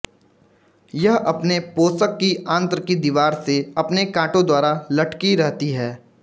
यह अपने पोषक की आंत्र की दीवार से अपने काँटों द्वारा लटकी रहती है